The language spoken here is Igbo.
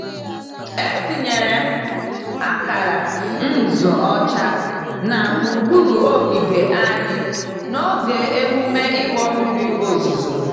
Etinyere m akara nzu ọcha na gburugburu ogige anyị n'oge emume ịkpọ mmiri ozuzo.